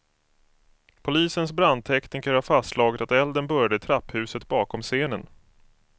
Polisens brandtekniker har fastslagit att elden började i trapphuset bakom scenen.